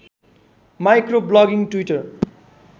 micro blogging Twitter